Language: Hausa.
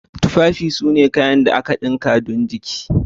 Tufafi sune kayan da aka dinkawa don jiki.